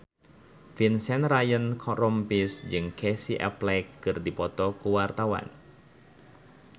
Vincent Ryan Rompies jeung Casey Affleck keur dipoto ku wartawan